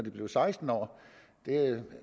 blev seksten år